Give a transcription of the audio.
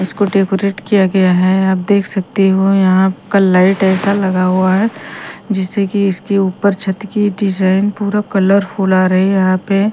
इसको डेकोरेट किया गया है आप देख सकते हो यहां आपका लाइट ऐसा लगा हुआ है जैसे कि इसके ऊपर छत की डिजाइन पूरा कलरफुल आ रही है यहां पे--